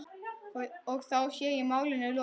Og þá sé málinu lokið.